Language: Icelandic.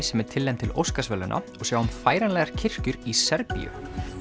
sem er tilnefnd til Óskarsverðlauna og sjáum færanlegar kirkjur í Serbíu